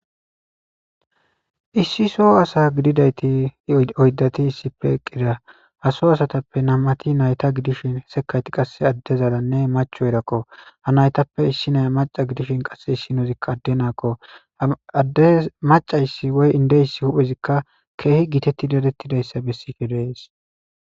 issi so asa gididayti oydati issife eqqida ha so asatappe nam'ati nayta gidishin sekayti qasse addezaranne machoyirakko ha naytappe issi naya maca gidishin qass issi noizikka adde naakko aadde macayssi woy indeys huphezikka keehi gitetti dadettidayssa bessid de'es